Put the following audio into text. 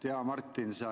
Hea Martin!